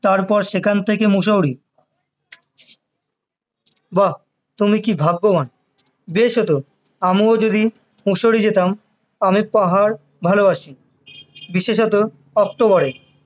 তারপর সেখান থেকে মুসৌরি বাহ তুমি কি ভাগ্যবান বেশ হতো আমিও যদি মুসৌরি যেতাম আমি পাহাড় ভালোবাসি বিশেষত অক্টোবর এ